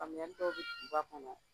Famuyali dɔw bɛ duguba kɔnɔ